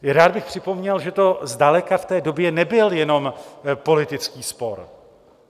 Rád bych připomněl, že to zdaleka v té době nebyl jenom politický spor.